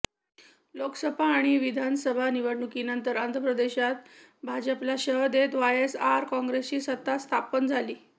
लोकसभा आणि विधानसभा निवडणुकीनंतर आंध्रप्रदेशात भाजपला शह देत वायएसआर काँग्रेसची सत्ता स्थापन झाली